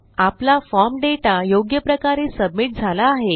आपला form data योग्यप्रकारे submit झाला आहे